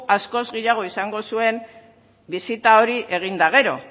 askoz gehiago izango zuen bisita hori egin eta gero